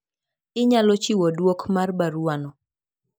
Inyalo chiwo duok mar baruwa no.